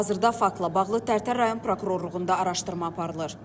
Hazırda faktla bağlı Tərtər rayon Prokurorluğunda araşdırma aparılır.